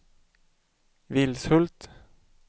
Vilshult